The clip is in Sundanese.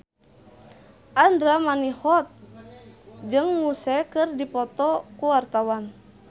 Andra Manihot jeung Muse keur dipoto ku wartawan